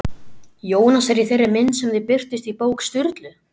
Jónasar í þeirri mynd sem þau birtust í bók Sturlu?